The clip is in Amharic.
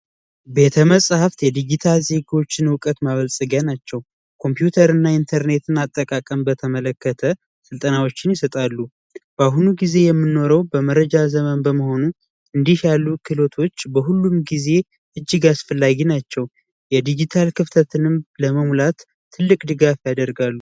ቤተ መጻፍት የዲጂታል ሴኮችን እውቀት መመልከ ናቸው። የኮምፒውተር አጠቃቀም በተመለከተ ስልጠናዎችን በአሁኑ ጊዜ የምንኖረው በመረጃ ዘመን በመሆኑ እንዲህ ያሉ ክህሎቶች በሁሉም ጊዜ እጅግ አስፈላጊ ናቸው። የዲጂታል ክፍተቶችን ለመሙላት ትልቅ ድጋፍ ያደርጋሉ።